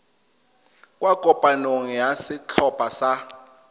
kwa kopanong ya setlhopha sa